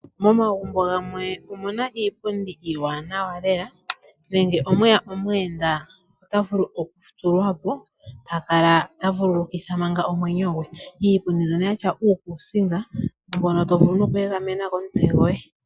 Momagumbo gamwe omuna iipundi iiwanawa lela nenge omwe ya omuyenda ota vulu okuthuwa po, ta kala ta vulukitha manga omwenyo gwe. Iipundi mbyoka ya tya uukusinga mbono tawu vulu noku egamena omutse goye.